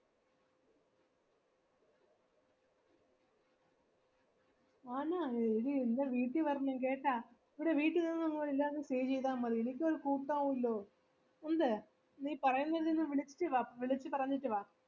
ആണോ എഡീ എൻ്റെ വീട്ടി വരണംകെട്ട എടീ വീട്ടി വാ നമ്മുക്ക് എല്ലാവർക്കും stay ചെയ്തമതി എനിക്കും ഒരുകൂട്ടവുവല്ലോ എന്ത് നീ പറയുമ്പോ എന്നെ ഒന്ന് വിളിച് വാ വിളിച്ച പറഞ്ഞിട്ട് വാ